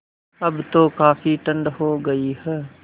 अब तो काफ़ी ठण्ड हो गयी है